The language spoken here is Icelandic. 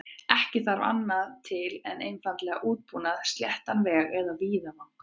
Ekki þarf annað til en einfaldan útbúnað, sléttan veg eða víðavang.